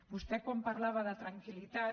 vostè quan parlava de tranquil·litat